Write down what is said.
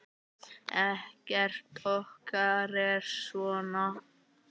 Ekkert okkar er svona.